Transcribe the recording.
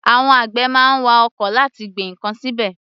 Àwọn àgbẹ̀ má ń wa oko láti gbin ǹkan síbẹ̀.